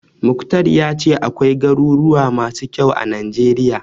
Mukhtar ya ce akwai garuruwa masu kyau a Najeriya.